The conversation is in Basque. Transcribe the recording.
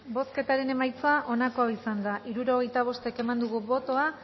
bozketaren emaitza onako izan da hirurogeita bost eman dugu bozka